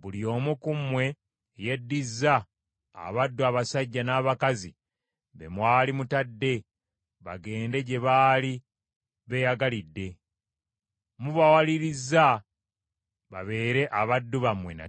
buli omu ku mmwe yeddiza abaddu abasajja n’abakazi be mwali mutadde bagende gye baali beeyagalidde. Mubawalirizza babeere abaddu bammwe nate.